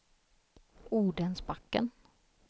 Odensbacken